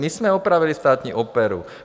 My jsme opravili Státní operu.